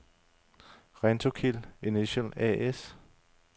Rentokil Initial A/S